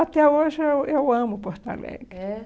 Até hoje, eu eu amo Porto Alegre. É